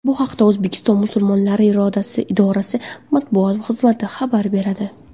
Bu haqda O‘zbekiston musulmonlari idorasi Matbuot xizmati xabar beradi .